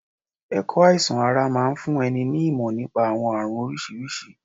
Ẹ̀kọ́ àìsàn ara máa ń fún ẹni ní ìmọ̀ nípa àwọn àrùn oríṣiríṣi.